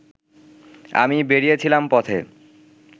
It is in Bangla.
আমি বেরিয়েছিলাম পথে